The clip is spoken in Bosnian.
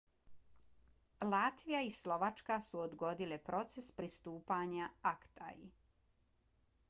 latvija i slovačka su odgodile proces pristupanja acta-i